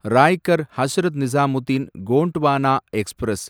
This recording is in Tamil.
ராய்கர் ஹஸ்ரத் நிசாமுதீன் கோண்ட்வானா எக்ஸ்பிரஸ்